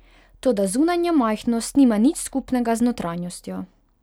Toda zunanja majhnost nima nič skupnega z notranjostjo.